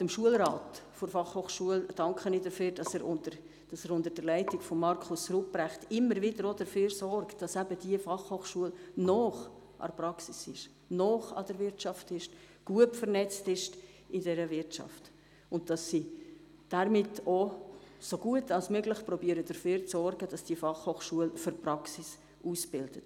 Auch dem Schulrat der BFH danke ich, dass er unter der Leitung von Markus Ruprecht stets dafür sorgt, dass die BFH nahe an der Praxis und an der Wirtschaft und auch gut vernetzt ist sowie dafür, dass sie damit auch so gut wie möglich dafür sorgen, dass die BFH für die Praxis ausbildet.